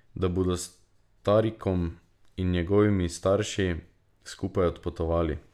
Da bodo s Tarikom in njegovimi starši skupaj odpotovali.